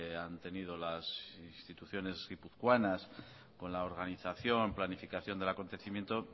han tenido las instituciones guipuzcoanas con la organización planificación del acontecimiento